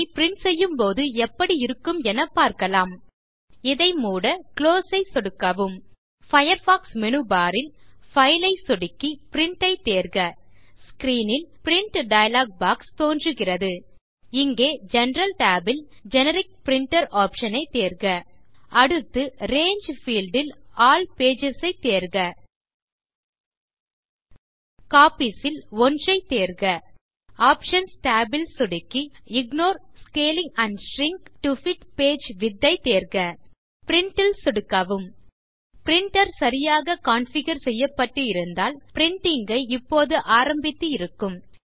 அதை பிரின்ட் செய்யும்போது எப்படி இருக்கும் என பார்க்கலாம் இதை மூட குளோஸ் ஐ சொடுக்கவும் பயர்ஃபாக்ஸ் மேனு பார் ல் பைல் ஐ சொடுக்கி பிரின்ட் ஐத் தேர்க ஸ்க்ரீன் ல் பிரின்ட் டயலாக் பாக்ஸ் தோன்றும் இங்கே ஜெனரல் Tab ல்Generic பிரின்டர் ஆப்ஷன் ஐத் தேர்க அடுத்து ரங்கே பீல்ட் ல் ஆல் பேஜஸ் ஐத் தேர்க Copiesல் 1ஐத் தேர்க ஆப்ஷன்ஸ் tab ல் சொடுக்கி ignore scaling and shrink to fit page Widthஐத் தேர்க பிரின்ட் ல் சொடுக்கவும் பிரின்டர் சரியாக கான்ஃபிகர் செய்யப்பட்டு இருந்தால் பிரின்டிங் ஐ இப்போது ஆரம்பித்து இருக்கும்